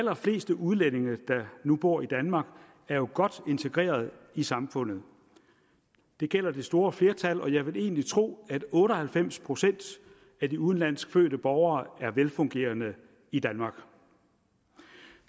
allerfleste udlændinge der nu bor i danmark er jo godt integreret i samfundet det gælder det store flertal og jeg vil egentlig tro at otte og halvfems procent af de udenlandsk fødte borgere er velfungerende i danmark